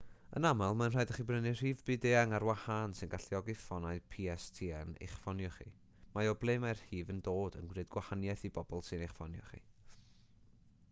yn aml mae'n rhaid i chi brynu rhif byd-eang ar wahân sy'n galluogi ffonau pstn i'ch ffonio chi mae o ble mae'r rhif yn dod yn gwneud gwahaniaeth i bobl sy'n eich ffonio chi